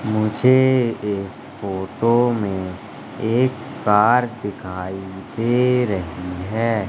मुझे इस फोटो में एक कार दिखाई दे रही है।